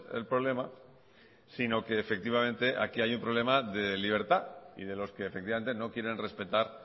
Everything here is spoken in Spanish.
el problema sino que efectivamente aquí hay un problema de libertad y de los que efectivamente no quieren respetar